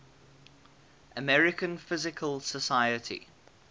american physical society